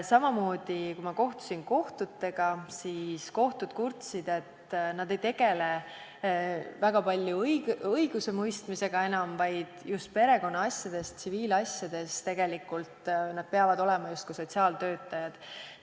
Samamoodi, kui ma käisin kohtutes, siis kohtutes kurdeti, et nad ei tegele enam väga palju õigusemõistmisega, vaid just perekonnaasjades, tsiviilasjades peavad nad olema justkui sotsiaaltöötajad.